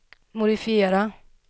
modifiera